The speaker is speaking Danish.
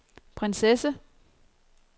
prinsesse